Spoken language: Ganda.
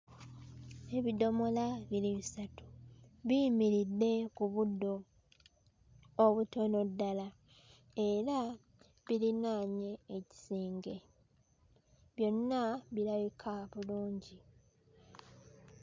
Ebidomola biri bisatu biyimiridde ku buddo obutono ddala era birinaanye ekisenge byonna birabika bulungi.